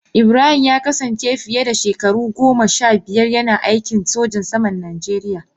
Ibrahim ya kasance fiye da shekaru goma sha biyar yana aikin sojan saman Najeriya.